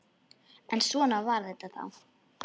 En svona var þetta þá.